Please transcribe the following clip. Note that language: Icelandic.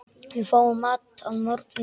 Við fáum mat að morgni.